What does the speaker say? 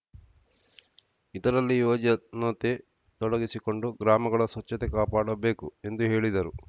ಇದರಲ್ಲಿ ಯುವಜನತೆ ತೊಡಗಿಸಿಕೊಂಡು ಗ್ರಾಮಗಳ ಸ್ವಚ್ಛತೆ ಕಾಪಾಡಬೇಕು ಎಂದು ಹೇಳಿದರು